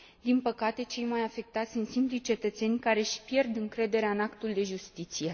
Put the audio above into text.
Din păcate, cei mai afectați sunt simplii cetățeni, care își pierd încrederea în actul de justiție.